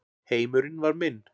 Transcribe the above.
Heimurinn var minn.